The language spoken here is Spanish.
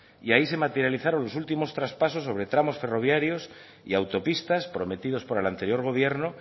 y ahí se materializaron los últimos traspasos sobre tramos ferroviarios y autopistas prometidos por el anterior gobierno